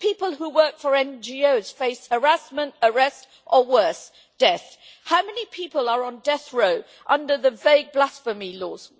People who work for NGOs face harassment, arrest or, worse, death. How many people are on death row under the vague blasphemy laws?